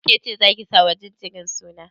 Kece zaki sa wa jinjirin suna?